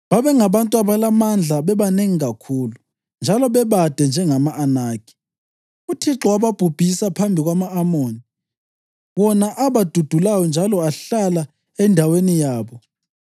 Babengabantu abalamandla bebanengi kakhulu, njalo bebade njengama-Anakhi. UThixo wababhubhisa phambi kwama-Amoni, wona abadudulayo njalo ahlala endaweni yabo.